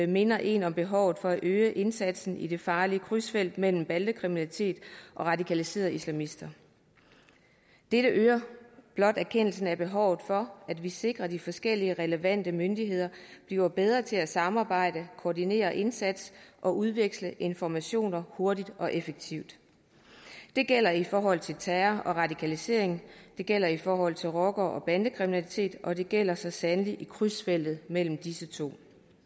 minder én om behovet for at øge indsatsen i det farlige krydsfelt mellem bandekriminalitet og radikaliserede islamister dette øger blot erkendelsen af behovet for at vi sikrer at de forskellige relevante myndigheder bliver bedre til at samarbejde koordinere indsatsen og udveksle informationer hurtigt og effektivt det gælder i forhold til terror og radikalisering det gælder i forhold til rocker og bandekriminalitet og det gælder så sandelig også i krydsfeltet mellem disse to